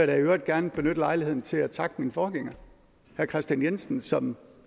da i øvrigt gerne benytte lejligheden til at takke min forgænger herre kristian jensen som